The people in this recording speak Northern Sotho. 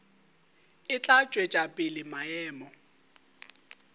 e tla tšwetša pele maemo